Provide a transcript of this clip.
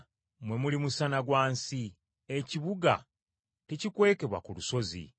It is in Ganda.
“Mmwe muli musana gwa nsi. Ekibuga tekikwekebwa ku lusozi.